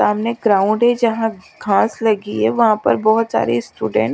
सामने ग्राउंड है जहाँ घास लगी है वहा पर बहोत सारे स्टूडेंट --